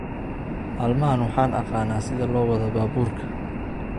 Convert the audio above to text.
Maalmahan waxaan aqaan sida loo wado baaburka